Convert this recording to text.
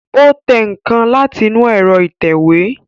Ó tẹ nǹkan láti inú ẹ̀rọ ìtẹ̀wé